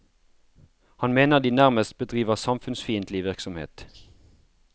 Han mener de nærmest bedriver samfunnsfiendtlig virksomhet.